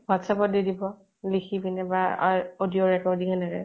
what's app ত দি দিব । লিখি পিনে । বা আ audio recording এনেকে